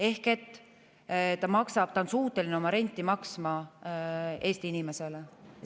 Ehk ta on suuteline üüri maksma Eesti inimesele.